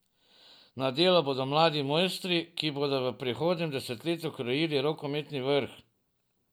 Na delu bodo mladi mojstri, ki bodo v prihodnjem desetletju krojili rokometni vrh.